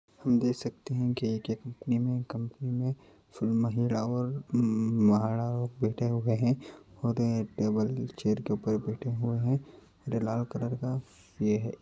हम देख सकते है कि में एक कम्पनी महिला और महार बैठे हुए है और ये टेबल चेयर के ऊपर बैठे हुए हैं इधर लाल कलर का ये है।